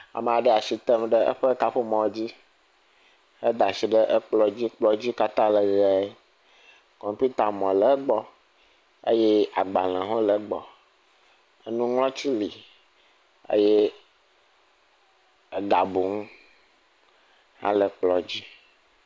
Ame aɖe le atsi tem ɖe eƒe kaƒomɔ dzi, edaatsi ɖe kplɔ dzi, kplɔ dzi katã le ʋe kɔmpitamɔ le egbɔ eye agbalẽwo hã le egbɔ eye egabunu hã le kplɔ dzi.